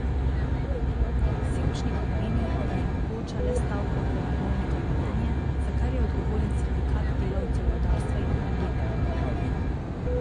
Sevčnikar meni, da je mogoča le stavka v Premogovniku Velenje, za kar je odgovoren sindikat delavcev rudarstva in energetike.